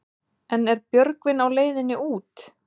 En er Björgvin á leiðinni út?